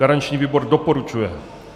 Garanční výbor doporučuje.